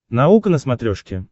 наука на смотрешке